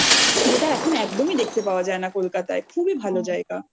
যেটা এখন একদমই দেখতে পাওয়া যায় না কোলকাতায় খুবই ভালো জায়গা